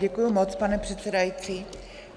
Děkuji moc, pane předsedající.